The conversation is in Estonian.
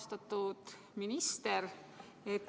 Austatud minister!